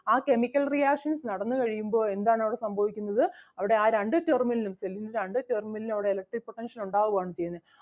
ആ chemical reactions നടന്നു കഴിയുമ്പോൾ എന്താണ് അവിടെ സംഭവിക്കുന്നത് അവിടെ ആ രണ്ട്ഉം terminal ഉം cell ൻ്റെ രണ്ട് terminal ലിലും അവിടെ electric potential ഉണ്ടാവുക ആണ് ചെയ്യുന്നത്